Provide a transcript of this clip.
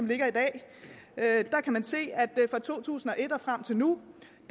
ligger i dag kan man se at fra to tusind og et og frem til nu